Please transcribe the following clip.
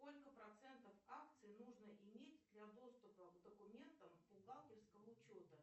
сколько процентов акций нужно иметь для доступа к документам бухгалтерского учета